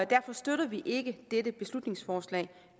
derfor støtter vi ikke dette beslutningsforslag